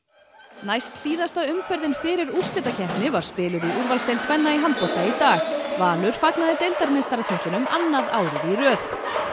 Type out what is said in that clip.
næstsíðasta umferðin fyrir úrslitakeppni var spiluð í úrvalsdeild kvenna í handbolta í dag Valur fagnaði annað árið í röð